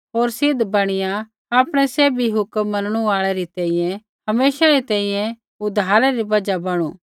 होर सिद्ध बैणिया आपणै सैभी हुक्म मनणु आल़ै री तैंईंयैं हमेशै री तैंईंयैं उद्धारै री बजहा बणू